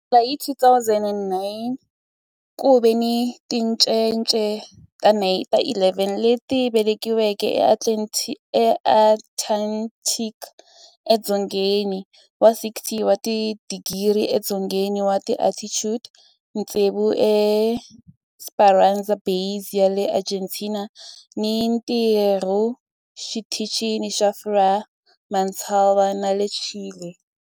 Ku sukela hi 2009, ku ve ni tincece ta 11 leti velekiweke eAntarctica edzongeni wa 60 wa tidigri edzongeni wa latitude, tsevu eEsperanza Base ya le Argentina ni ntirhu eXitichini xa Frei Montalva xa le Chile.